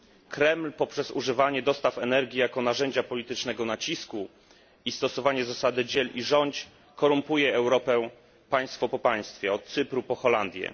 Kreml poprzez używanie dostaw energii jako narzędzia politycznego nacisku i stosowanie zasady dziel i rządź korumpuje Europę państwo po państwie, od Cypru po Holandię.